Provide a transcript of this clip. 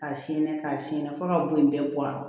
Ka sɛn ka sɛnɛn fɔ ka bon in bɛɛ bɔ a